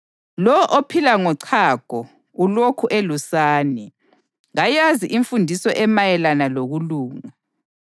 Lowo ophila ngochago, ulokhu elusane, kayazi imfundiso emayelana lokulunga.